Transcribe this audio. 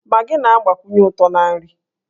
Magị na-agbakwụnye ụtọ na nri.